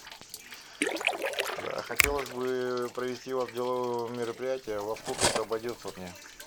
хотелось бы провести у вас деловое мероприятие во сколько это обойдется мне